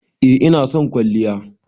eh ina son kwalliya.